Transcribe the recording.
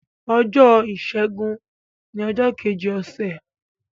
ọjọ Ọjọ́ Ìsẹ́gun ní ojó Kejì Ose.